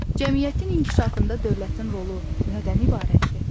Cəmiyyətin inkişafında dövlətin rolu nədən ibarətdir?